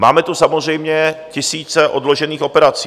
Máme tu samozřejmě tisíce odložených operací.